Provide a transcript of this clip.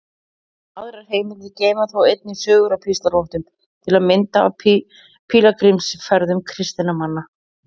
Aðrar heimildir geyma þó einnig sögur af píslarvottum, til að mynda af pílagrímsferðum kristinna manna.